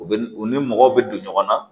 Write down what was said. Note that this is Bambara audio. U bɛ u ni mɔgɔw bɛ don ɲɔgɔn na